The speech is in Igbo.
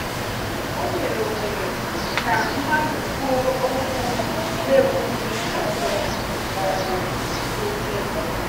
O nyere ohere ka mmadụ kwuo okwu n'ebughị ọsọ ma ọ bụ kwụsị.